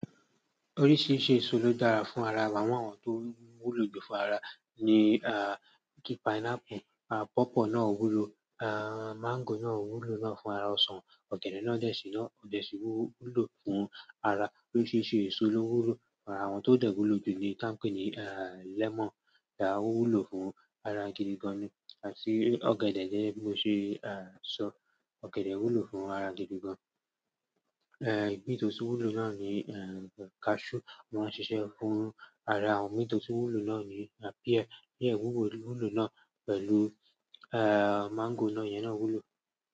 Oríṣiríṣi èso ló dára fún ara, wàá mọ àwọn tó wúlo jù fún ara ni, ah, kí pineapple, ah, pawpaw náà wúlo, ah, mango náà wúlo náà fún ara ọsàn, ọ̀gẹ̀dẹ̀ náà dẹ̀ sí náà, dẹ̀ sí wú-wúlo fún ara. Oríṣiríṣi èso ló wúlo ara, àwọn tó dẹ̀ kú ló jù ni tán pè ní, ah, lemon, ah, wúlo fún ara gidi gan ni àti ọ̀gẹ̀dẹ̀ gẹ́gẹ́ mo ṣé, ah, sọ, ọ̀gẹ̀dẹ̀ wúlo fún ara gidi gan. Eh, ìmi tó tún wúlo náà ni, eh, cashew máa ń ṣiṣẹ́ fún ara, àwọn imi tó tún wúlo náà ni pear, yẹn wúwo wúlo náà pẹ̀lú, eh, mango náà yẹn náà wúlo.